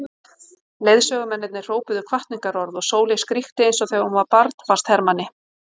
Leiðsögumennirnir hrópuðu hvatningarorð og Sóley skríkti eins og þegar hún var barn fannst Hermanni.